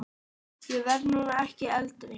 Ég verð nú ekki eldri!